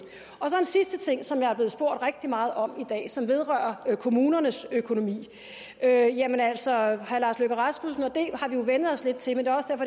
sidste ting som jeg er blevet spurgt rigtig meget om i dag og som vedrører kommunernes økonomi jamen altså herre lars løkke rasmussen og det har vi jo vænnet os lidt til men det